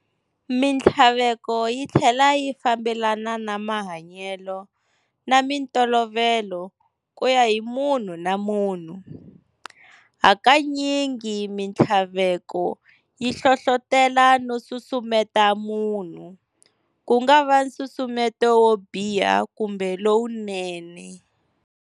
Minhtlaveko yi thlela yi fambelana na mahanyelo na mintolovelo ku ya hi munhu na munhu. Hakanyingi minthlaveko yi hlohlotela no susumeta munhu, kungava nsusumeto wo biha kumbe lowunene.